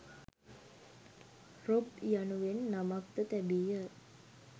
‘Rob‘ යනුවෙන් නමක් ද තැබීය.